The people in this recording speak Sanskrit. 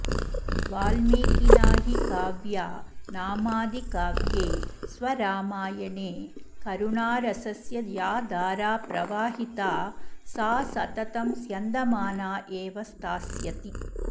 वाल्मीकिना हि काव्या नामादिकाव्ये स्वरामायणे करुणरसस्य या धारा प्रवाहिता सा सततं स्यन्दमाना एव स्थास्यति